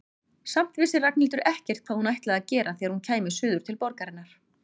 Samt vissi Ragnhildur ekkert hvað hún ætlaði að gera þegar hún kæmi suður til borgarinnar.